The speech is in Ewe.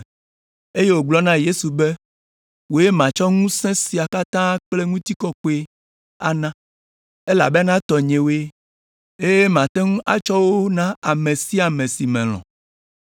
eye wògblɔ na Yesu be, “Wòe matsɔ ŋusẽ sia katã kple ŋutikɔkɔe ana; elabena tɔnyewoe, eye mate ŋu atsɔ wo na ame sia ame si melɔ̃.